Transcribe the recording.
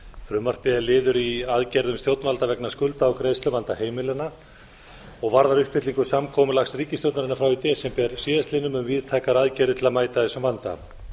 frumvarpið er liður í aðgerðum stjórnvalda vegna skulda og greiðsluvanda heimilanna og varðar uppfyllingu samkomulags ríkisstjórnarinnar frá í desember síðastliðnum um víðtækar aðgerðir til að mæta þessum vanda